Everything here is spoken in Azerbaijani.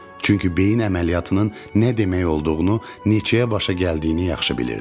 Çünki beyin əməliyyatının nə demək olduğunu, neçəyə başa gəldiyini yaxşı bilirdik.